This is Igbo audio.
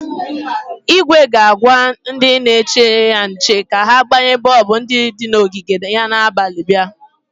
Igwe ga-agwa ndị na-eche ya nche ka ha gbanye bọọbụ ndi di n'ogige ya na abalị bịa.